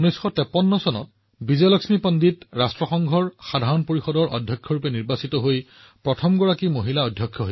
কেৱল সেয়াই নহয় ১৯৫৩ চনত ৰাষ্ট্ৰসংঘৰ সাধাৰণ সভাৰ প্ৰথম মহিলা সভাপতি হিচাপে শ্ৰীমতী বিজয়া লক্ষ্মী পণ্ডিতক বাচনি কৰা হৈছিল